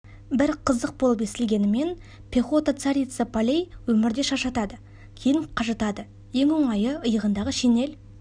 бір қызық болып естілгенімен пехота царица полей өмірде шаршатады кейін қажытады ең оңайы йығындағы шинель